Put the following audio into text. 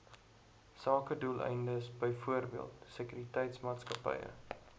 sakedoeleindes byvoorbeeld sekuriteitsmaatskappye